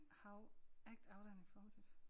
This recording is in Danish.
How act out and informative